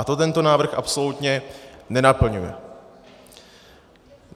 A to tento návrh absolutně nenaplňuje.